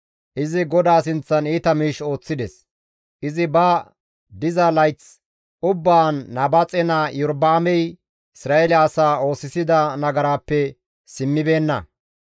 Izi GODAA sinththan iita miish ooththides; izi ba diza layth ubbaan Nabaaxe naa Iyorba7aamey Isra7eele asaa oosisida nagaraappe simmibeenna.